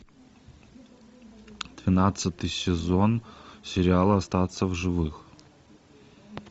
двенадцатый сезон сериала остаться в живых